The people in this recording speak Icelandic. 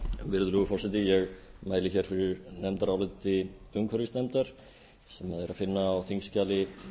virðulegi forseti ég mæli hér fyrir nefndaráliti umhverfisnefndar sem er að finna á þingskjali